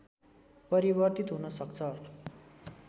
परिवर्तित हुन सक्छ